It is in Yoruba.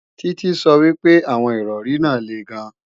Títí sọ wípé àwọn Ìrọ̀rí náà le gan